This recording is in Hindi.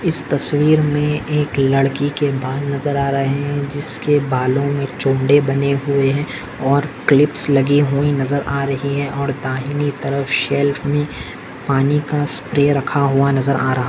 इस तस्वीर मे एक लड़की के बाल नजर आ रहे है जिसके बालों मे चोमड़े बने हुए है और क्लिप्स लगी हुई नजर आ रही है और दाहिने तरफ शेल्फ मे पानी का स्प्रे रखा हुआ नजर आ रहा--